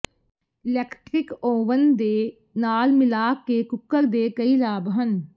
electric oven ਦੇ ਨਾਲ ਮਿਲਾ ਕੇ ਕੁੱਕਰ ਦੇ ਕਈ ਲਾਭ ਹਨ